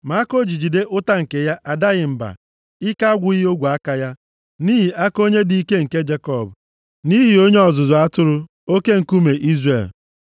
Ma aka o ji jide ụta nke ya adaghị mba, ike agwụghị ogwe aka ya, nʼihi aka Onye dị ike nke Jekọb, nʼihi Onye ọzụzụ atụrụ, Oke Nkume Izrel,